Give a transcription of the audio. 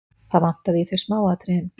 Það vantaði í þau smáatriðin.